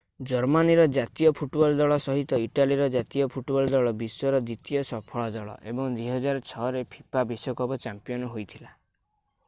ଜର୍ମାନୀର ଜାତୀୟ ଫୁଟବଲ ଦଳ ସହିତ ଇଟାଲୀର ଜାତୀୟ ଫୁଟବଲ ଦଳ ବିଶ୍ୱର ଦ୍ୱିତୀୟ ସଫଳ ଦଳ ଏବଂ 2006 ରେ ଫିଫା ବିଶ୍ୱକପ ଚାମ୍ପିୟନ ହୋଇଥିଲା